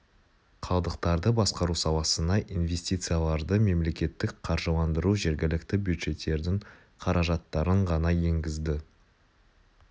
қалдықтарды басқару саласына инвестицияларды мемлекеттік қаржыландыру жергілікті бюджеттердің қаражаттарын ғана енгізді